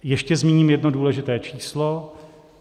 Ještě zmíním jedno důležité číslo.